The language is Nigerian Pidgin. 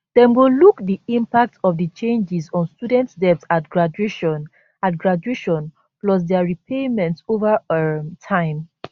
dem go look di impact of di changes on students debt at graduation at graduation plus dia repayments over um time